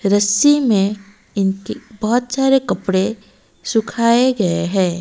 रस्सी में इनके बहुत सारे कपड़े सुखाए गए है।